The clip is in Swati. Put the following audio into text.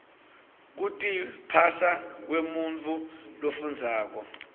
kutiphasa kwemuntfu lofundzako